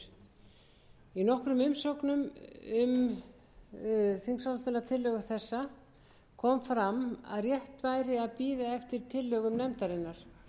í nokkrum umsögnum um þingsályktunartillögu þessa kom fram að rétt væri að bíða eftir tillögum nefndarinnar